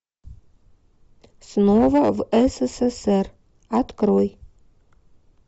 снова в ссср открой